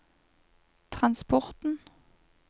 transporten